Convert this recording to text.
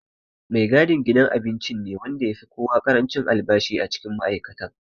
Mai gadin gidan abincin ne wanda ya fi koya ƙarancin albashi a cikin ma'aikatan.